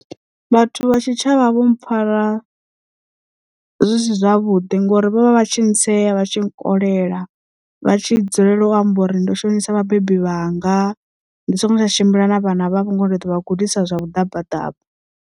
Vhathu vha tshitshavha vho mpfara zwisi zwavhuḓi ngori vho vha vha tshi ntsea vha tshi nkolela vha tshi dzulela u amba uri ndo shonisa vhabebi vhanga ndi songo tsha tshimbila na vhana vhavho ngori ndi ḓo vha gudisa zwa vhuḓabaḓaba.